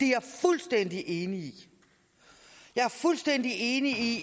jeg fuldstændig enig i jeg er fuldstændig enig i